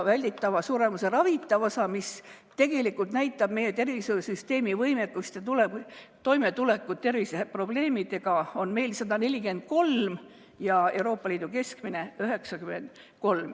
Välditava suremuse ravitav osa, mis tegelikult näitab tervishoiusüsteemi võimekust ja toimetulekut terviseprobleemidega, on meil 143 ja Euroopa Liidu keskmine on 93.